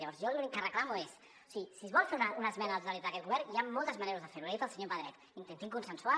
llavors jo l’únic que reclamo és si es vol fer una esmena a aquest govern hi ha moltes maneres de fer ho li ha dit el senyor pedret intentin consensuar